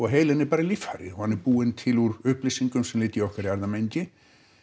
heilinn er bara líffæri og hann er búinn til úr upplýsingum sem liggja í okkar erfðamengi